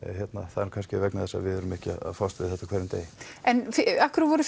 það er kannski vegna þess að við erum ekki að fást við þetta á hverjum degi en af hverju voru